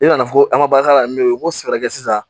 I nana fɔ an ka baara la n'o ye n ko sɛbɛn kɛ sisan